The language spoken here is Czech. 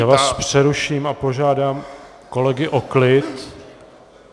Já vás přeruším a požádám kolegy o klid.